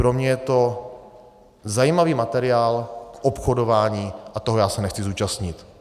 Pro mě je to zajímavý materiál obchodování a toho já se nechci zúčastnit.